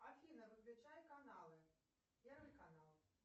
афина выключай каналы первый канал